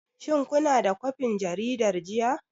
Shin kuna da kwafin jaridar jiya?